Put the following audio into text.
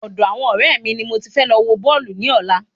Ọ̀dọ àwọn ọrẹ mi ni mo ti fẹ́ lọ wọ Bọ́ọ̀lù ní ọ̀la